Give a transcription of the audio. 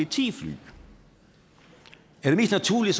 ti fly er det mest naturlige